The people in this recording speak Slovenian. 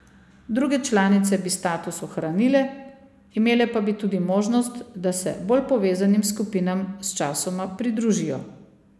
Druge članice bi status ohranile, imele pa bi tudi možnost, da se bolj povezanim skupinam sčasoma pridružijo.